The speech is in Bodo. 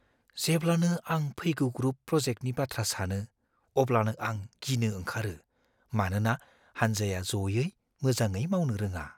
जेब्लानो आं फैगौ ग्रुप प्रजेक्टनि बाथ्रा सानो अब्लानो आं गिनो ओंखारो मानोना हान्जाया ज'यै मोजाङै मावनो रोङा।